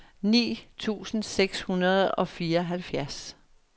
ni tusind seks hundrede og fireoghalvfjerds